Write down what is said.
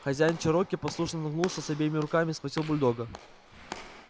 хозяин чероки послушно нагнулся и обеими руками схватил бульдога